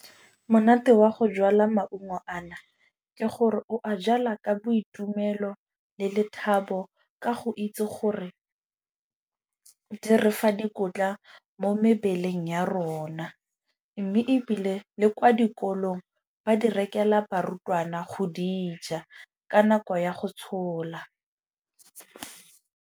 Monate wa go jalwa maungo a na ke gore o a jala ka boitumelo le lethabo, ka go itse gore di re fa dikotla mo mebeleng ya rona. Mme ebile le kwa dikolong ba di rekela barutwana go dija ka nako ya go tshola.